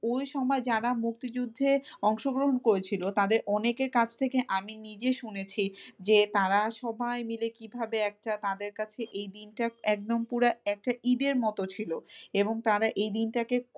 ওই সময় যারা মুক্তিযুদ্ধে অংশগ্রহণ করেছিল তাদের অনেকের কাছ থেকে আমি নিজে শুনেছি যে তারা সবাই মিলে কিভাবে একটা তাদের কাছে এই দিনটা একদম পুরা একটা ঈদের মত ছিল এবং তারা এই দিনটাকে,